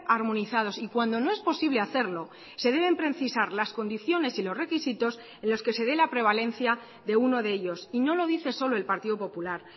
armonizados y cuando no es posible hacerlo se deben precisar las condiciones y los requisitos en los que se dé la prevalencia de uno de ellos y no lo dice solo el partido popular